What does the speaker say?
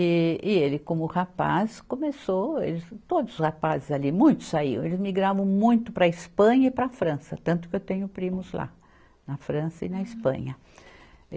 E e ele, como rapaz, começou, eles, todos os rapazes ali, muitos saíam, eles migravam muito para a Espanha e para a França, tanto que eu tenho primos lá, na França e na Espanha.